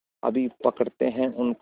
अभी पकड़ते हैं उनको